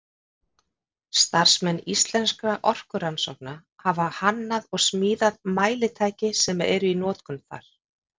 Starfsmenn Íslenskra orkurannsókna hafa hannað og smíðað mælitæki sem eru í notkun þar.